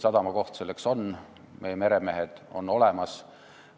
Sadamakohad on, meremehed on olemas.